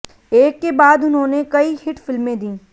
एक के बाद उन्होंने कई हिट फिल्में दी